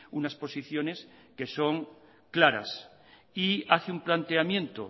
unas posiciones que son claras y hace un planteamiento